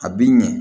A bi ɲɛ